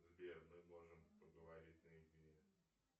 сбер мы можем поговорить наедине